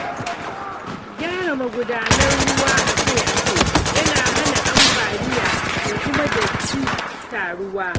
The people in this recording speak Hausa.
Gyara magudanan ruwa akai-akai yana hana ambaliya da kuma datti taruwa.